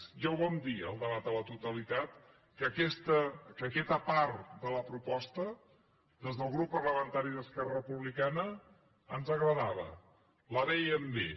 ja ho vam dir al debat a la totalitat que aquesta part de la proposta des del grup parlamentari d’esquerra republicana ens agradava la vèiem bé